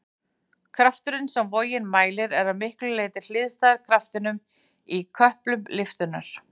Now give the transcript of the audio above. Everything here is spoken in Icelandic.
Krafturinn sem vogin mælir er að miklu leyti hliðstæður kraftinum í köplum lyftunnar.